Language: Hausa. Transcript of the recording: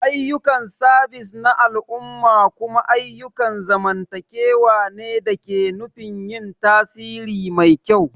Ayyukan sabis na al'umma kuma ayyukan zamantakewa ne da nufin yin tasiri mai kyau.